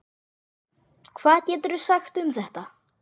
Hvað geturðu sagt um þetta?